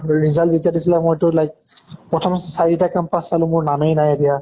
result যেতিয়া দিছিলে মই তো like প্ৰথম চাৰিটা campus চালো মোৰ নামে নাই দিয়া